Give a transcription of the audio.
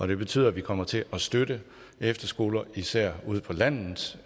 det betyder at vi kommer til at støtte efterskoler især ude på landet